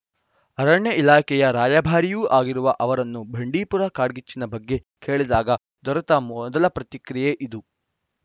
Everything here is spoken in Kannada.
ಅರಣ್ಯ ಇಲಾಖೆಯ ರಾಯಭಾರಿಯೂ ಆಗಿರುವ ಅವರನ್ನು ಬಂಡೀಪುರ ಕಾಡ್ಗಿಚ್ಚಿನ ಬಗ್ಗೆ ಕೇಳಿದಾಗ ದೊರೆತ ಮೊದಲ ಪ್ರತಿಕ್ರಿಯೆ ಇದು